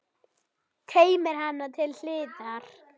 Teymir hana til hliðar.